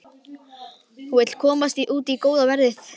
Hún vill komast út í góða veðrið.